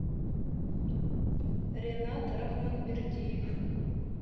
ринат рахманбердиев